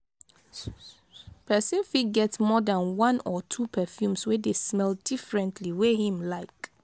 person fit get more than one or two perfumes wey de smell differently wey him like